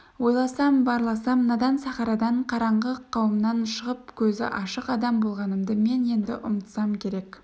ойласам барласам надан сахарадан қараңғы қауымнан шығып көзі ашық адам болғанымды мен енді ұмытсам керек